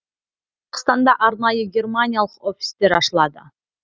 қазақстанда арнайы германиялық офистер ашылады